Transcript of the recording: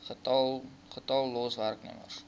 getal los werknemers